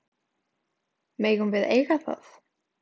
Megum við eiga það?